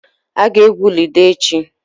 Ị ga-egwu ludo echi.